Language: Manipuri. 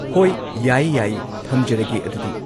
ꯍꯣꯏ ꯌꯥꯏ ꯌꯥꯏ ꯊꯝꯖꯔꯒꯦ ꯑꯗꯨꯗꯤ꯫